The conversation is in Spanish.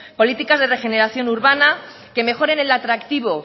políticas de regeneración urbana que mejoren el atractivo